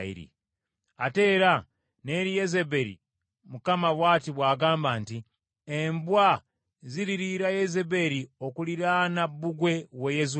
“Ate era n’eri Yezeberi Mukama bw’ati bw’agamba nti, ‘Embwa ziririira Yezeberi okuliraana bbugwe w’e Yezuleeri.